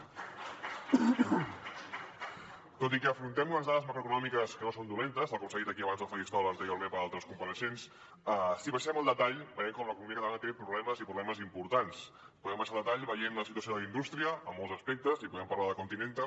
tot i que afrontem unes dades macroeconòmiques que no són dolentes tal com s’ha dit aquí abans al faristol anteriorment per altres compareixents si baixem al detall veiem com l’economia catalana té problemes i problemes importants podem baixar al detall veient la situació de la indústria en molts aspectes i podem parlar de continental